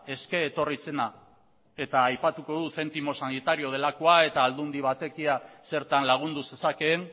eske etorri zena eta aipatuko dut zentimo sanitario delakoa eta aldundi batekia zertan lagundu zezakeen